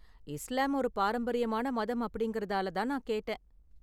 இஸ்லாம் ஒரு பாரம்பரியமான மதம் அப்படிங்கறதால தான் நான் கேட்டேன்.